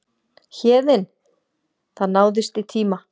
Héðinn: Það náðist í tíma?